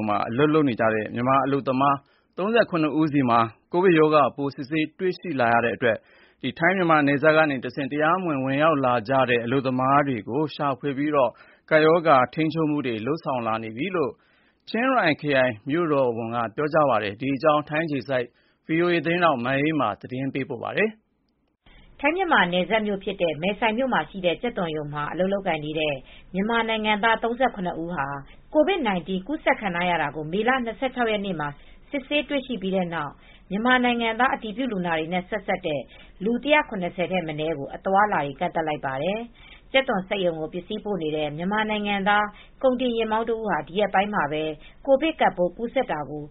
ံမှာ အလုပ်လုပ်နေတဲ့ မြန်မာအလုပ်သမား ၃၇ဦးဟာ မေလ၂၆ ရက်နေ့က ကိုဗစ်ကပ်ရောဂါကူးစက်ခံထားကြောင်း စစ်ဆေးတွေ့ရှိတဲ့အတွက်ထိုင်း- မြန်မာနယ်စပ်က နယ်စပ်ကျေးရွာတွေမှာ တရားမဝင် ဝင်ရောက်လာသူတွေကို ရှာဖွေစစ်ဆေးပြီး ကပ်ရောဂါကာကွယ်ထိန်းချုပ်မူတွေ လုပ်ဆောင်နေပြီလို့ ချင်းရိုင်မြို့တော်ဝန်က ပြောဆိုသွားပါတယ်။ ဒီသတင်းကို ဗွီအိုအေ သတင်းထောက် မအေးအေးမာက ပြောပြပေးမှာပါ။ ထိုင်း-မြန်မာနယ်စပ်မြို့ဖြစ်တဲ့ မယ်ဆိုင်မြို့ မှာရှိတဲ့ကြက်သွန်ရုံမှာ အလုပ်လုပ်နေတဲ့ မြန်မာနိုင်ငံသား ဦး COVID 19 ကူးစက်ခံထားရတာကို မေလ ၂၆ရက်နေ့မှာ စစ်ဆေးတွေ့ရပြီးနောက် မြန်မာနိုင်ငံသား အတည်ပြုလူနာတွေနဲ့ ဆက်စပ်တဲ့ လူ ၁၇၀ ထက်မနည်းကို အသွားအလာတွေ ကန့့်သတ်လိုက်ပါတယ်။ ကြက်သွန်စက်ရုံကို ပစ္စည်းပို့နေတဲ့ မြန်မာနိုင်ငံသားကုန်တင်ယာဉ်မောင်းတဦးဟာ ဒီရက်ပိုင်းမှာပဲ ကိုဗစ်ကပ်ပိုး ကူးစက်တာကို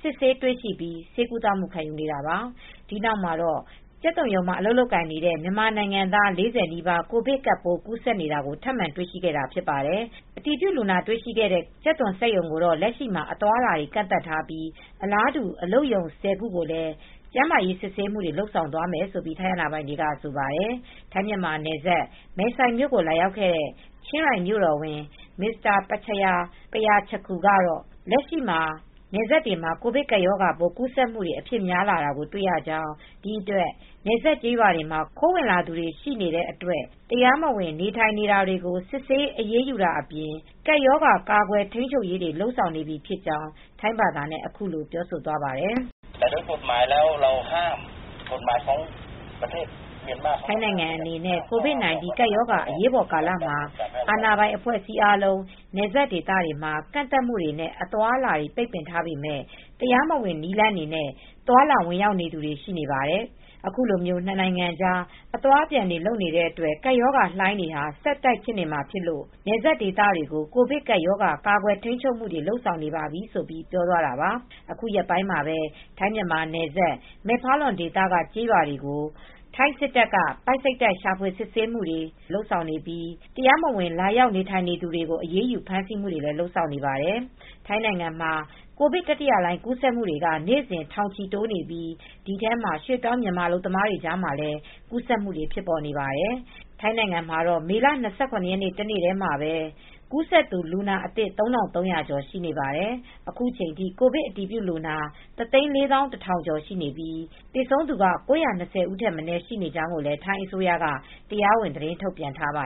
စစ်ဆေးတွေ့ရှိပြီး ဆေးကုသမူခံနေရတာပါ။ ဒီနောက်မှာတော့ ကြက်သွန်ရုံမှာ အလုပ်လုပ်နေတဲ့ မြန်မာနိုင်ငံသား ၄၀နီးပါး ကိုဗစ်ကပ်ပိုး ကူးစက်နေတာကို ထပ်မံတွေ့ရှိခဲ့တာ ဖြစ်ပါတယ်။ အတည်ပြုလူနာတွေ့ရှိတဲ့ ကြက်သွန်စက်ရုံကို တော့လက်ရှိမှာ အသွားအလာတွေ ကန့်သတ်ထားပြီး အလားတူ အလုပ်ရုံ ခုကိုလည်း ကျန်းမာရေးစစ်ဆေးမူတွေ လုပ်သွားမယ်လို့ ထိုင်းအာဏာပိုင်တွေက ဆိုပါတယ်။ ထိုင်း-မြန်မာယ်စပ် ၊ မယ်ဆိုင်မြို့ကို လာရောက်ခဲ့တဲ့ ချင်းရိုင်မြို့တော်ဝန် Mr. Prachaya Prachatakul ကတော့ လက်ရှိ နယ်စပ်တွေမှာ ကိုဗစ်ကပ်ရောဂါကူးစက်မူတွေ အဖြစ်များလာကို တွေ့ရကြောင်း ဒီအတွက် နယ်စပ်ကျေးရွာတွေမှာ ခိုးဝင်သူတွေရှိနေတဲ့အတွက် တရားမဝင် နေထိုင်နေတာတွေကို စစ်ဆေး အရေးယူတာအပြင် ကပ်ရောဂါကာကွယ် ထိန်းချုပ်ရေးတွေ လုပ်ဆောင်နေပြီဖြစ်ကြောင်း ထိုင်းဘာသာနဲ့ အခုလိုပြောဆိုသွားပါတယ်။ “ထိုင်းနိုင်ငံအနေနဲ့ ကိုဗစ်၁၉ ကပ်ရောဂါ အရေးပေါ်ကာလ မှာ အာဏာပိုင် အဖွဲ့အစည်းတွေ အားလုံး နယ်စပ်ဒေသမှာ ကန့်သတ်မှုတွေ နဲ့ အသွားအလာတွေ ပိတ်ပင်ထားပေမယ့် တရားမဝင်နည်းလမ်းတွေနဲ့ သွားလာ ဝင်ရောက်လာနေတဲ့ သူတွေရှိနေပါတယ်။ အခုလို နှစ်နိုင်ငံကြား အသွားအပြန် လုပ်နေတဲ့အတွက် ကပ်ရောဂါလှိုင်းတွေဟာ ဆက်ဖြစ်နေမှာဖြစ်လို့ နယ်စပ်ဒေသတွေကို ကိုဗစ်ကပ်ရောဂါ ကာကွယ်ထိန်းချုပ်မူတွေ လုပ်ဆောင်နေပါပြီ” ဆိုပြီး ပြောသွားတာပါ။ အခုရက်ပိုင်းမှာပဲ ထိုင်း-မြန်မာနယ်စပ်၊ မယ့်ဖာလွန်ဒေသက ကျေးရွာတွေကို ထိုင်းစစ်တပ်တွေ ပိုက်စိတ်တိုက် ရှာဖွေ စစ်ဆေးမူတွေ လုပ်ဆောင်နေပြီး တရားမဝင် လာရောက်နေထိုင်နေသူတွေကို အရေးယူ ဖမ်းဆီးမှုတွေ လုပ်ဆောင်နေပါတယ်။ ထိုင်းနိုင်ငံမှာ ကိုဗစ် တတိယလှိုင်း ကူးစက်မူတွေက နေ့စဉ် ထောင်ချီတိုးနေပြီး ဒီထဲမှာ ရွှေ့ပြောင်းမြန်မာ အလုပ်သမားတွေကြားမှာလည်း ကူးစက်မူတွေဖြစ်နေပါတယ်။ ထိုင်းနိုင်ငံမှာတော့မေလ ၂၇ ရက်နေ့ တနေ့တည်းမှာပဲ ကူးစက်သူ လူနာအသစ် ၃၃၀၀ကျော် ရှိနေပါတယ်။ အခုချိန်ထိ ကိုဗစ်အတည်ပြုလူနာ တသိန်းလေးသောင်းတထောင်ကျော်ရှိပြီး သေဆုံးသူက ၉၂၀ဦး ထက်မနည်းရှိနေကြောင်း ထိုင်းအစိုးရက တရားဝင်သတင်းထုတ်ပြန်ထားပါ